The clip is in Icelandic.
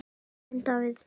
Þinn Davíð.